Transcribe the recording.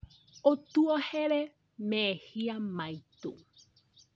ũtuohere mehia maitũ